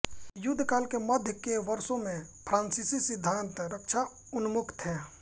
युद्ध काल के मध्य के वर्षों में फ्रांसीसी सिद्धांत रक्षाउन्मुख थे